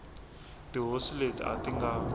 tihosi leti a ti nga